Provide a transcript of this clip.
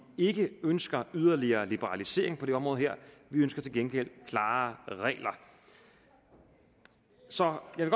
ikke ønsker yderligere liberalisering på det område her vi ønsker til gengæld klarere regler så jeg